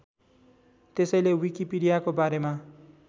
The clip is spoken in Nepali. त्यसैले विकिपीडियाको बारेमा